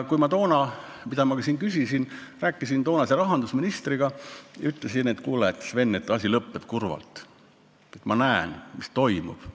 Kui ma toona rääkisin toonase rahandusministriga, siis ma ütlesin, et kuule, Sven, asi lõpeb kurvalt, ma näen, mis toimub.